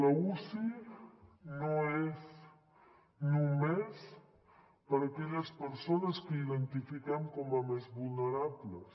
l’uci no és només per a aquelles persones que identifiquem com a més vulnerables